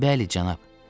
Bəli, cənab.